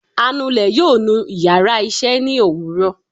anulè yóò nú íyarà iṣẹ ni owúrò